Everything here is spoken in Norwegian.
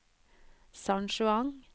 San Juan